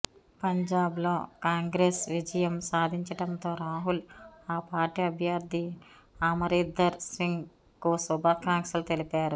పంజాబ్ లో కాంగ్రెస్ విజయం సాధించడంతో రాహుల్ ఆ పార్టీ అభ్యర్థి అమరీందర్ సింగ్ కు శుభాకాంక్షలు తెలిపారు